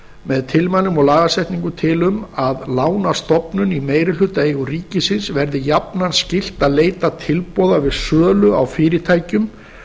með tilmælum og lagasetningu til um að lánastofnunum í meirihlutaeigu ríkisins verði jafnan skylt að leita tilboða við sölu á fyrirtækjum